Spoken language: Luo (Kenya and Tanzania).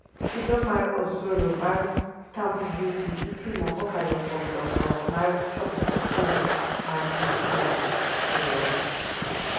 Chudo mar osuru mar stamp duty itimo kokalo kuom dongruok mar choko osuru mar piny Kenya (KRA)